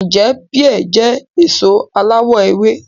Ǹjẹ́ píà jẹ́ èso aláwọ̀ ewé